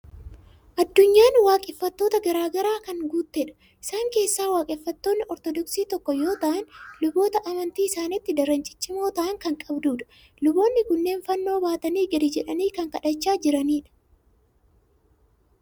Addunyaan waaqeffattoota garaa garaan kan guuttedha. Isaan keessaa waaqeffattoonni Ortoodoksii tokko yoo ta'an, luboota amantii isaaniitti daran ciccimoo ta'an kan qabdudha. Luboonni kunneen fannoo baatanii gadi jedhanii kan kadhachaa jiranidha.